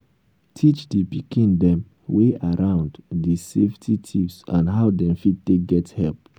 teach di pikin dem wey around di safety tips and how dem fit take get help